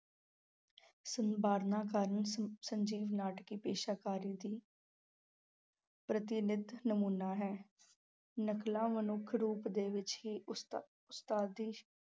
ਕਾਰਨ, ਸ~ ਸਜੀਵ ਨਾਟਕੀ ਪੇਸ਼ਕਾਰੀ ਦੀ ਪ੍ਰਤਿਨਿਧ ਨਮੂਨਾ ਹੈ, ਨਕਲਾਂ ਮਨੁੱਖ ਰੂਪ ਦੇ ਵਿੱਚ ਹੀ ਉਸਤਾ~ ਉਸਤਾਦੀ